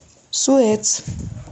суэц